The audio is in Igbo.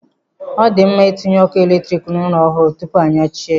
Ọ di mma itinye ọkụ eletrik n'ụlọ ọhụrụ tupu anyachie ya.